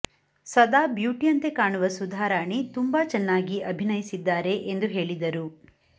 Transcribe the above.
ಸದಾ ಬ್ಯುಟಿಯಂತೆ ಕಾಣುವ ಸುಧಾರಾಣಿ ತುಂಬಾ ಚೆನ್ನಾಗಿ ಅಭಿನಯಿಸಿದ್ದಾರೆ ಎಂದು ಹೇಳಿದರು